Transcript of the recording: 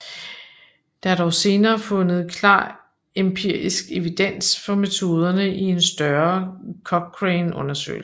Der er dog senere fundet klar empirisk evidens for metoderne i en større Cochrane undersøgelse